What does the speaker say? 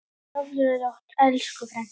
Sofðu rótt elsku frænka.